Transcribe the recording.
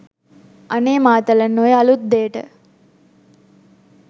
අනේ මාතලන් ඔය අළුත් දේට